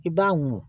I b'a mun